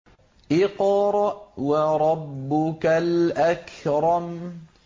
اقْرَأْ وَرَبُّكَ الْأَكْرَمُ